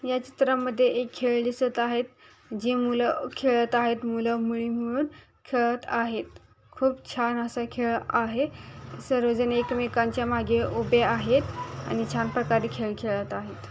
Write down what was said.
या चित्रामध्ये एक खेळ दिसत आहे जी मुलं खेळत आहेत मुलंमुळी मिळून खेळत आहेत खूप छान असं हे खेळ आहे सर्वजण एकमेकांच्या मागे उभे आहेत अन छान प्रकारे खेळ खेळत आहेत.